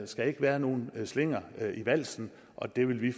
skal ikke være nogen slinger i valsen og det vil vi